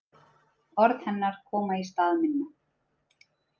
Orð hennar koma í stað minna.